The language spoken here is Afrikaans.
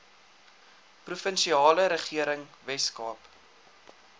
provinsiale regering weskaap